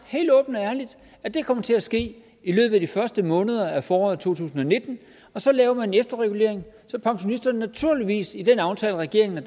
at det kommer til at ske i løbet af de første måneder af foråret to tusind og nitten og så laver man en efterregulering så pensionisterne naturligvis i den aftale regeringen og